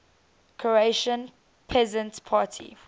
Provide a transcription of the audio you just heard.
croatian peasant party